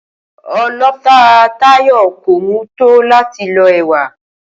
O̩lo̩ta Táyò̩ kò mú tó láti lo̩ è̩wà